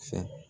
Fɛ